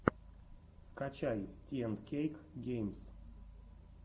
скачай ти энд кейк геймс